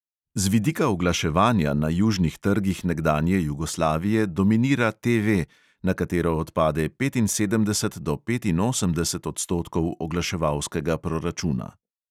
Z vidika oglaševanja na južnih trgih nekdanje jugoslavije dominira TV, na katero odpade petinsedemdeset do petinosemdeset odstotkov oglaševalskega proračuna.